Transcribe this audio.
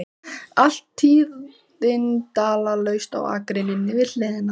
Allt tíðindalaust á akreininni við hliðina.